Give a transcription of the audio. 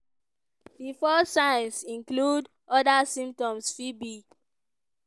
di first signs include: oda symptoms fit be: